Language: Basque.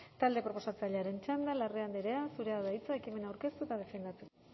talde proposatzailearen txanda da larrea andrea zurea da hitza ekimena aurkeztu eta defendatu